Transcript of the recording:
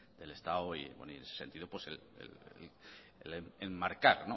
del estado y en ese sentido enmarcar